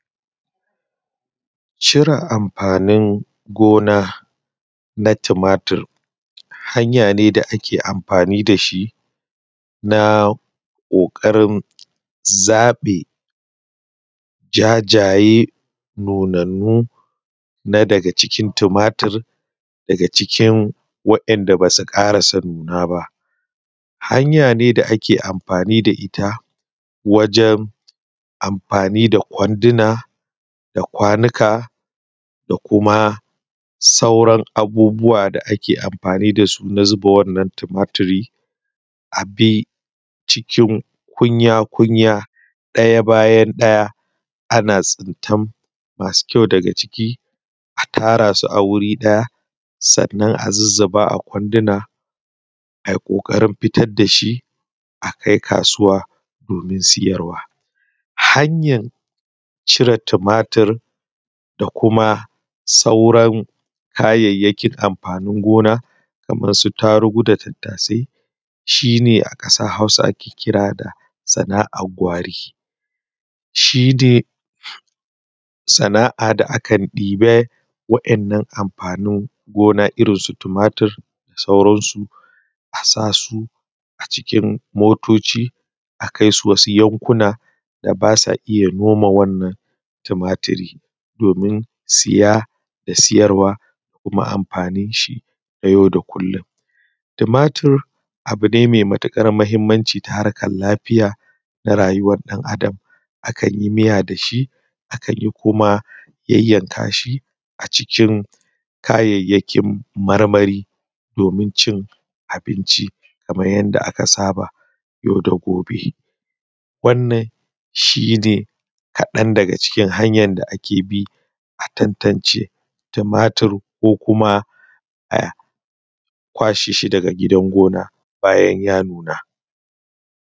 Cire amfanin gona na tumatur hanya ce da ake amfani da shi na kokari zaɓe jajajye nunannu na daga cikin tumatur daga cikin waɗanda ba su karasa nuna ba. Hanya ne da da ake amfani da ita wajen amfani da kwanduna da kwanuka da kuma sauran abubuwa da ake amfani da su na zuba wannan tumaturi a cikin kunya-kunya ɗaya bayan ɗaya masu ƙyau daga ciki a tara su ba wuri ɗaya sannan a zuzzuba a kwanduna a yi kokarin fita da shi a kainkasuwa domin sayarwa a. Hanyar ciron tumatur da kuma sauran kayayyakin smfanin gona kamar su yarugu da tattasai shi ne a ƙasar Hausa ake kira da sana'ar gwari, shi dai sana'a da akan ɗeba wannan amfanin gona irin su tumatur a sa su a cikin motoci a kaisu wsu yankuna da ba sa iya noma wannan tumatur domin saya da sayarawa kuma amfanin shi na yau da kullun. Tumatur abu ne mai matuƙar mahimmanci ta harkar lafiya na rayuwar ɗan Adam akan yi miya da shi akan yi kuma yayyanka shi a cikin kayayyakin marmari na abinci kamar yadda aka saba yau da gobe. Wannan shi ne kaɗan daga cikin hanyar da ake bi a tantance tumatur ko kuma a kwace shi daga gidan gona bayan ya nuna.